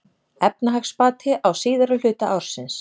Efnahagsbati á síðari hluta ársins